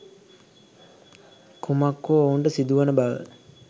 කුමක් හෝ ඔවුන්ට සිදුවන බව